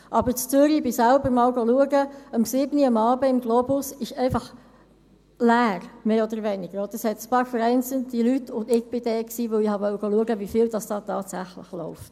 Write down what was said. Aber in Zürich – ich ging selbst einmal schauen – um 19 Uhr am Abend im Globus ist es einfach mehr oder weniger leer, es gibt einige vereinzelte Leute, und ich war dort, weil ich schauen wollte, wie viel dort tatsächlich läuft.